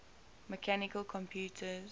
mechanical computers